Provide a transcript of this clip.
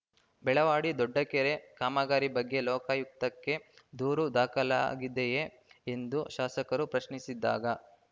ಬೆಳವಾಡಿ ದೊಡ್ಡ ಕೆರೆ ಕಾಮಗಾರಿ ಬಗ್ಗೆ ಲೋಕಾಯುಕ್ತಕ್ಕೆ ದೂರು ದಾಖಲಾಗಿದೆಯೇ ಎಂದು ಶಾಸಕರು ಪ್ರಶ್ನಿಸಿದಾಗ